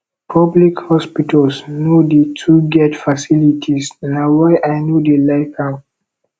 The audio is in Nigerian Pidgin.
public hospitals no dey too get facilities na why i no dey like am